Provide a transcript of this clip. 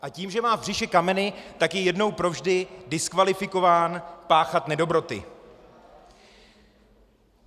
A tím, že má v břiše kameny, tak je jednou provždy diskvalifikován páchat nedobroty.